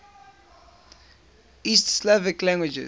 east slavic languages